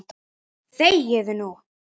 ÞEGIÐU NÚ!